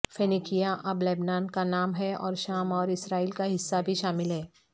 فینیکیا اب لبنان کا نام ہے اور شام اور اسرائیل کا حصہ بھی شامل ہے